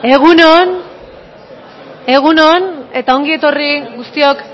egun on egun on eta ongi etorri guztiok